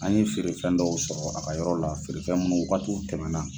An ye feerefɛn dɔw sɔrɔ a ka yɔrɔ la , feerefɛn minnu wagati tɛmɛna.